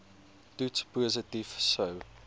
toets positief sou